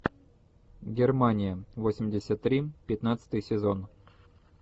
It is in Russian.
германия восемьдесят три пятнадцатый сезон